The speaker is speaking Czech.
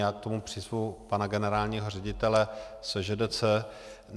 Já k tomu přizvu pana generálního ředitele SŽDC.